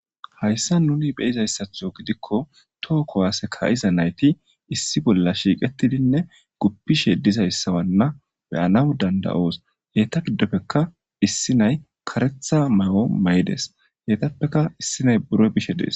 Hayssan nuni beyizayssatho gidikko toho kowaase ka'iza nayti issi bolla shiiqetidinne guppishe dizayssa wanna be'anaw danda7oos. Heyta giddopekka issi nay karetha mayo mayides heytappeka issi nay buro bishe dees.